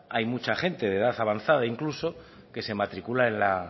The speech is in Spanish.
hay mucha gente de edad avanzada incluso que se matricula en la